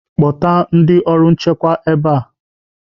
Kpọta ndị ọrụ nchekwa ebe a!